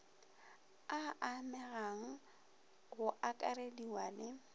a amegang go akarediwa le